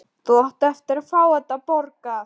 Þú átt eftir að fá þetta borgað!